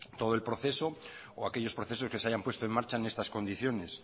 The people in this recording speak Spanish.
todo el proceso o aquellos procesos que se hayan puesto en marcha en estas condiciones